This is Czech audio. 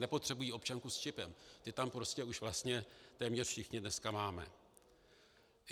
Nepotřebují občanku s čipem, ty tam prostě už vlastně téměř všichni dneska máme.